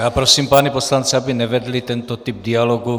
Já prosím pány poslance, aby nevedli tento typ dialogu.